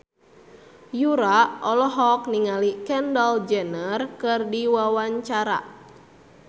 Yura olohok ningali Kendall Jenner keur diwawancara